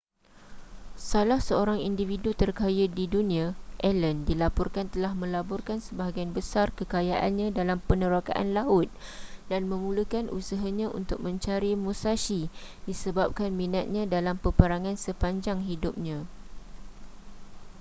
salah seorang individu terkaya di dunia allen dilaporkan telah melaburkan sebahagian besar kekayaannya dalam penerokaan laut dan memulakan usahanya untuk mencari musashi disebabkan minatnya dalam peperangan sepanjang hidupnya